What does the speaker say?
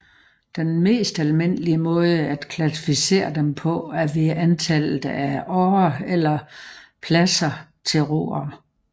Den mest almindelige måde at klassificere dem på er ved antallet af årer eller pladser til roere